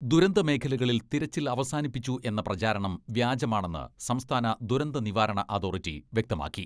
ദുരന്തമേഖലകളിൽ തിരച്ചിൽ അവസാനിപ്പിച്ചു എന്ന പ്രചാരണം വ്യാജമാണെന്ന് സംസ്ഥാന ദുരന്ത നിവാരണ അതോറിറ്റി വ്യക്തമാക്കി.